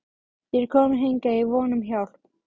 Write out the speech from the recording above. Ég er kominn hingað í von um hjálp.